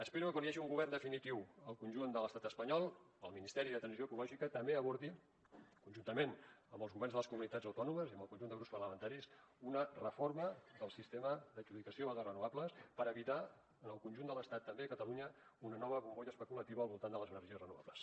espero que quan hi hagi un govern definitiu al conjunt de l’estat espanyol el ministeri per a la transició ecològica també abordi conjuntament amb els governs de les comunitats autònomes i amb el conjunt de grups parlamentaris una reforma del sistema d’adjudicació de renovables per evitar en el conjunt de l’estat també a catalunya una nova bombolla especulativa al voltant de les energies renovables